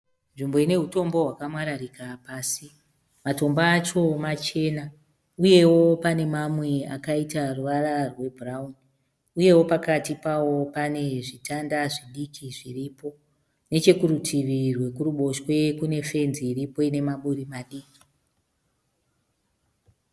Nzvimbo ine hutombo hwakamwararika pasi. Matombo acho machena uyewo pane mamwe akaita ruvara rwebhurauni uyewo pakati pawo pane zvitanda zvidiki zviripo nechekurutivi rwekuruboshwe kune fenzi iriko ine maburi madiki.